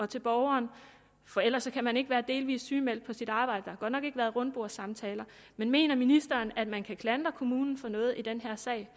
til borgeren for ellers kan man ikke være delvis sygemeldt på sit arbejde der godt nok ikke været rundbordssamtaler men mener ministeren at man kan klandre kommunen for noget i den her sag